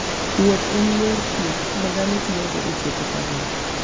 Wuoth en yor thieth ma dhano tiyogo e tieko parruok.